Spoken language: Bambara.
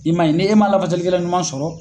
I man ɲi ni e man lafasali kɛla ɲuman sɔrɔ.